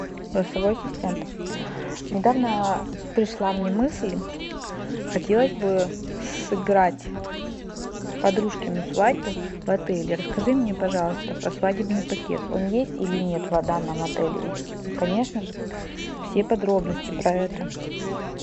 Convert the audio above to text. голосовой ассистент недавно пришла мне мысль хотелось бы сыграть подружкину свадьбу в отеле расскажи мне пожалуйста про свадебный пакет он есть или нет в данном отеле и конечно же все подробности про это